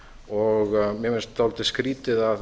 og mér finnst dálítið skrýtið að